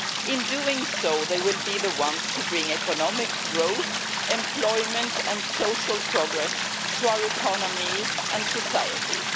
In doing so, they will be the ones to bring economic growth, employment and social progress to our economies and societies.